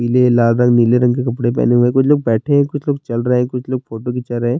پلےلالرنگ نیلے رنگ ک لکپدے پہنے ہیں، کچھ لوگ بیٹھے ہیں ، کچھ لوگ چل رہے ہیں کچھ لوگ فوٹو کھنچا رہے ہیں-